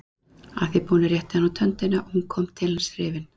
Að því búnu rétti hann út höndina og hún kom til hans hrifin.